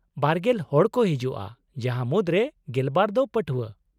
ᱵᱟᱨᱜᱮᱞ ᱦᱚᱲ ᱠᱚ ᱦᱤᱡᱩᱜᱼᱟ ᱡᱟᱦᱟᱸ ᱢᱩᱫᱨᱮ ᱜᱮᱞᱵᱟᱨ ᱫᱚ ᱯᱟᱹᱴᱷᱣᱟᱹ ᱾